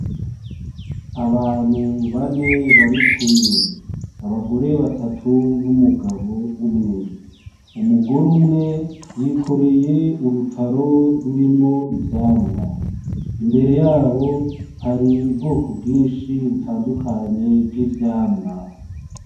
Abantu bane barikumwe. Abagore batatu, numugabo umwe. Umugore umwe yikoreye urutaro rurimwo ivyamwa. Imbere yabo hari ubwoko bwinshi butandukanye bw'ivyamwa.